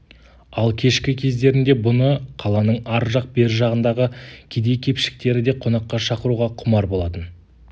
ал кешкі кездерінде бұны қаланың ар жақ бер жағындағы кедей-кепшіктері де қонаққа шақыруға құмар болатын